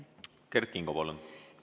Kert Kingo, palun!